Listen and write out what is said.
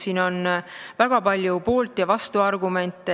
Siin on väga palju poolt- ja vastuargumente.